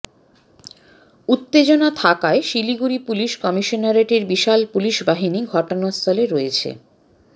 উত্তেজনা থাকায় শিলিগুড়ি পুলিশ কমিশনারেটের বিশাল পুলিশ বাহিনী ঘটনাস্থলে রয়েছে